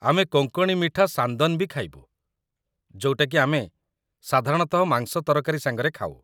ଆମେ କୋଙ୍କଣୀ ମିଠା ସାନ୍ଦନ ବି ଖାଇବୁ, ଯୋଉଟାକି ଆମେ ସାଧାରଣତଃ ମାଂସ ତରକାରୀ ସାଙ୍ଗରେ ଖାଉ ।